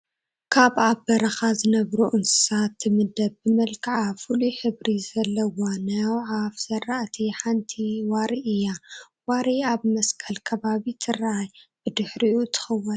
ካብ ኣብ በረኻ ዝነብሩ እንስሳታት ትምደብ ብመልክዓ ፍሉይ ሕብሪ ዘለዋ ናይ ኣዕዋፍ ዝራእቲ ሓንቲ ዋሪ እያ፡፡ ዋሪ ኣብ መስቀል ከባቢ ተራእያ ብድሕሪኡ ትኽውል፡፡